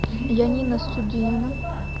янина студилина